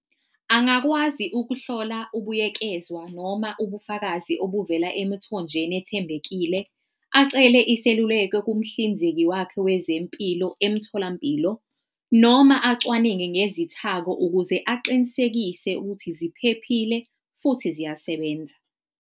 Angakwazi ukuhlola ubuyekezwa noma ubufakazi obuvela emithonjeni ethembekile, acele iseluleko kumhlinzeki wakhe wezempilo emtholampilo, noma acwaninge ngezithako ukuze aqinisekise ukuthi ziphephile, futhi ziyasebenza.